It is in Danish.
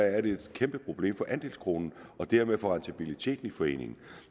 er det et kæmpeproblem for andelskronen og dermed for rentabiliteten i foreningen